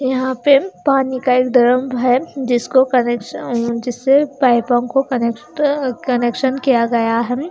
यहां पर पानी का एक ड्रम है जिसको कनेक्शन जिससे पाइपों को कनेक्ट कनेक्शन किया गया है--